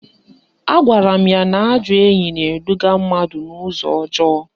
Agwara m ya ajọ enyi na-eduga mmadụ n'ụzọ ọjọọ